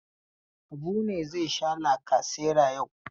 Habu ne zai sha lkasera yau.